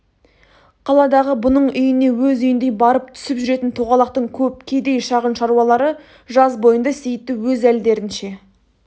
қаладағы бұның үйіне өз үйіндей барып түсіп жүретін тоғалақтың көп кедей шағын шаруалары жаз бойында сейітті өз әлдерінше